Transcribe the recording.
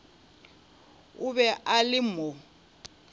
o be a le mo